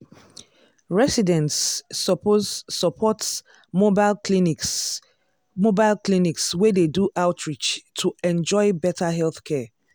residents suppose support mobile clinics mobile clinics wey dey do outreach to enjoy better healthcare.